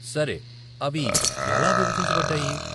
సరే, అవి ఎలా విభజించబడ్డాయి ?